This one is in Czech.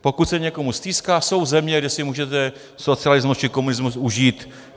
Pokud se někomu stýská, jsou země, kde si můžete socialismus či komunismus užít.